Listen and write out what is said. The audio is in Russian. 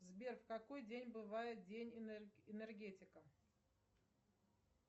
сбер в какой день бывает день энергетика